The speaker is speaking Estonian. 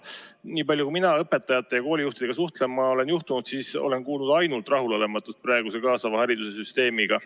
Nii palju kui mina olen õpetajate ja koolijuhtidega suhtlema juhtunud, olen ma kuulnud ainult rahulolematust praeguse kaasava haridussüsteemiga.